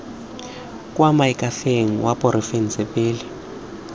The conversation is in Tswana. kwa moakhaefeng wa porofense pele